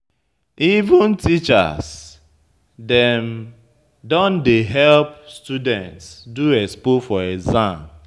Even teachers dem don dey help students do expo for exam.